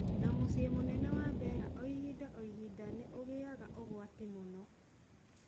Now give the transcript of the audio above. Na mũcĩĩ mũnene wa Bera hinda ohinda nĩ ũgiaga ũgwati mũno